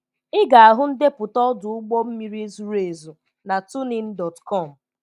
Ị ga-ahụ ndepụta ọdụ ụgbọ mmiri zuru ezu na tunein.com.